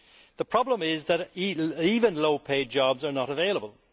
The problem is that even low paid jobs are not available.